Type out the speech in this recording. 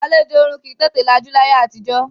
Àlejò ọ̀ọ̀run kì í tètè lajú láyé àtijọ́